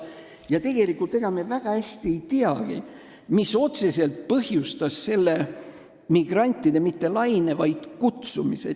Ega me tegelikult väga hästi ei teagi, mis otseselt põhjustas mitte selle migrantide laine, vaid nende kutsumise.